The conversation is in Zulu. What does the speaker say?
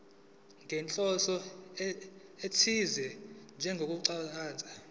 nenhloso ethize njengokuchaza